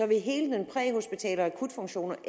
vil hele den præhospitale funktion